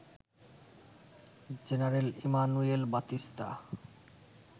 general Emmanuel Batista